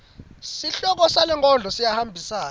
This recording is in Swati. sihloko salenkondlo siyahambisana